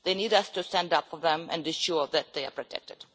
They need us to stand up for them and ensure that they are protected.